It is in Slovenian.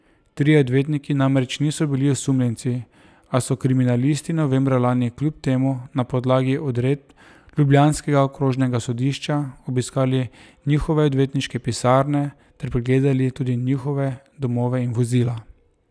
Trije odvetniki namreč niso bili osumljenci, a so kriminalisti novembra lani kljub temu na podlagi odredb ljubljanskega okrožnega sodišča obiskali njihove odvetniške pisarne ter pregledali tudi njihove domove in vozila.